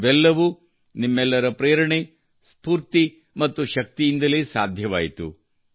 ಇವೆಲ್ಲವೂ ನಿಮ್ಮೆಲ್ಲರ ಪ್ರೇರಣೆ ಸ್ಫೂರ್ತಿ ಮತ್ತು ಶಕ್ತಿಯಿಂದಲೇ ಸಾಧ್ಯವಾಯಿತು